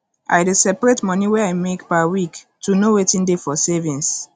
i dey separate money wey i make per week to know wetin dey for savings